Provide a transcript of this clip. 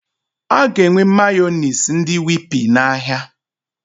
Aga enwe Mayọnais ndị Whippy na ahịa